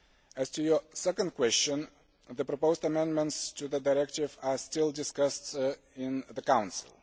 As to your second question, the proposed amendments to the directive are still being discussed in the Council.